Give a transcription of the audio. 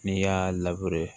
N'i y'a